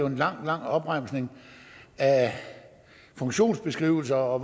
en lang lang opremsning af funktionsbeskrivelser og af